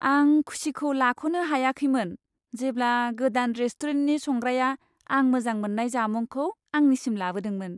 आं खुसिखौ लाख'नो हायाखैमोन, जेब्ला गोदान रेस्टुरेन्टनि संग्राया आं मोजां मोननाय जामुंखौ आंनिसिम लाबोदोंमोन।